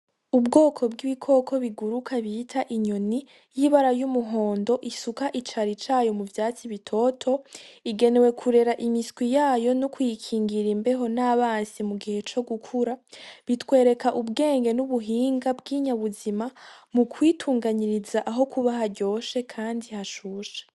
Ubwoko bw 'ibikoko biguruka bita inyoni y'ibara y'umuhondo isuka icari cayo mu vyatsi bitoto ,igenewe kurera imiswi yayo no kuyikingira imbeho n'abansi mugihe co gukura, bitwereka ubwenge n'ubuhinga bw'inyabuzima mukwitunganyiriza aho kuba haryoshe kandi hashushe.